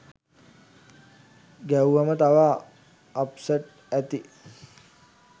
ගැහුවම තව අප්සෙට් ඇති.